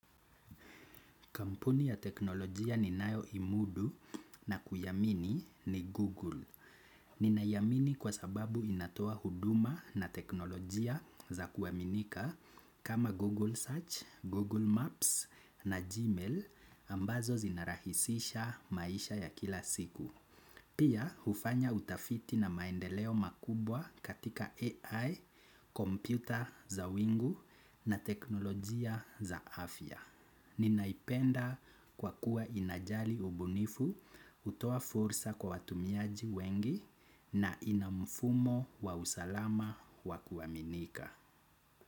Kampuni ya teknolojia ninayoimudu na kuiamini ni Google. Ninaiamini kwa sababu inatoa huduma na teknolojia za kuaminika kama Google Search, Google Maps na Gmail ambazo zinarahisisha maisha ya kila siku. Pia hufanya utafiti na maendeleo makubwa katika AI, kompyuta za wingu na teknolojia za afya. Ninaipenda kwa kuwa inajali ubunifu hutoa fursa kwa watumiaji wengi na ina mfumo wa usalama wa kuaminika.